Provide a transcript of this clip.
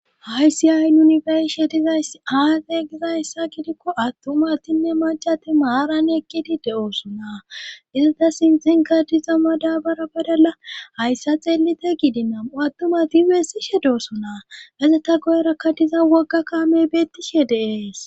haysi ay yunifershe dizay aate gizayssa gidikko attumatinne macati maaran ekkidi de7oosunaa izata sinxinka diza ma daabara badala hayssa xeelite gidi namu attumati weessishe doosunaa gezetta goyerakka diza wogga kaame beettishe deees